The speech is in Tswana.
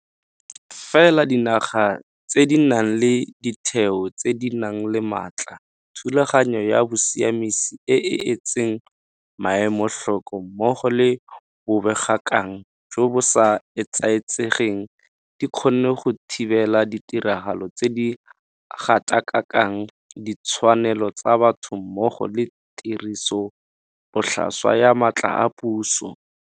Fela dinaga tse di nang le ditheo tse di nang le matla, thulaganyo ya bosiamisi e e etseng maemo tlhoko mmogo le bobegakgang jo bo sa etsaetsegeng di kgonne go thibela ditiragalo tse di gatakakang ditshwanelo tsa batho mmogo le tirisobotlhaswa ya matla a puso.